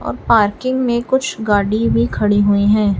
और पार्किंग में कुछ गाड़ी भी खड़ी हुई है।